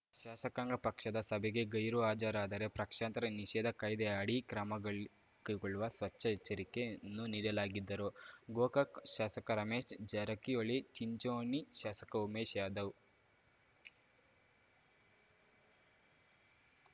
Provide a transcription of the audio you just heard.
ಶಾಸಕಾಂಗ ಪಕ್ಷದ ಸಭೆಗೆ ಗೈರು ಹಾಜರಾದರೆ ಪ್ರಕ್ಷಾಂತರ ನಿಷೇಧ ಕಾಯ್ದೆ ಅಡಿ ಕ್ರಮ ಗಳ್ ಕೈಗೊಳ್ಳುವ ಸ್ವಚ್ಛ ಎಚ್ಚರಿಕೆಯನ್ನು ನೀಡಲಾಗಿದ್ದರೂ ಗೋಕಾಕ್‌ ಶಾಸಕ ರಮೇಶ್‌ ಜಾರಕಿಹೊಳಿ ಚಿಂಚೋಣಿ ಶಾಸಕ ಉಮೇಶ್‌ ಯಾಧವ್‌